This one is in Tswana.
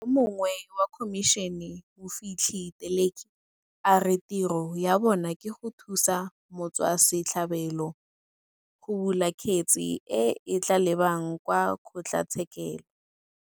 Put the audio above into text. Yo mongwe wa khomišene, Mofihli Teleki, a re tiro ya bona ke go thusa motswase tlhabelo go bula kgetse e e tla lebang kwa kgotlatshekelo.